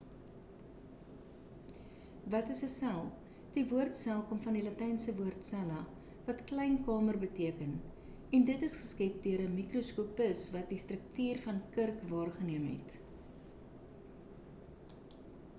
wat is 'n sel die woord sel kom van die latynse woord cella wat klein kamer beteken en dit is geskep deur 'n mikroskopis wat die struktuur van kurk waargeneem het